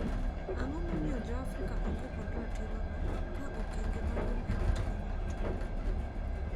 Ang'o momiyo joafrika onge kod ratirono, ka okenge maduong e ratiro mar twak.